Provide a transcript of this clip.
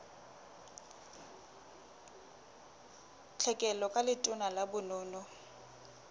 tlhekelo ka letona la bonono